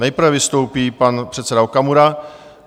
Nejprve vystoupí pan předseda Okamura.